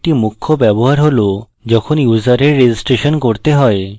এর একটি মুখ্য ব্যবহার হল যখন ইউসারের registration করতে হয়